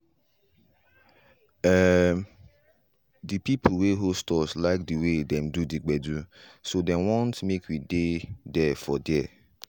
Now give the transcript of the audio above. um de pipo wey host us like de wey dem do the gbedu so dem want make we dey for there.